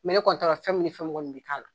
ne kɔni t'a dɔn fɛn min ni fɛn kɔni bi k'a la.